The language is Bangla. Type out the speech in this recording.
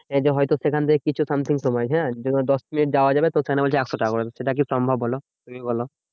এই যে হয়তো সেখান থেকে কিছু something হ্যাঁ দশমিনিটে যাওয়া হয়ে যাবে তো সেখানে বলছে একশো টাকা করে, সেটা কি সম্ভব বোলো? তুমিই বোলো?